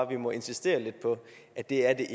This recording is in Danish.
vi må insistere lidt på at det er